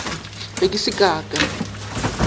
be ke se ka ka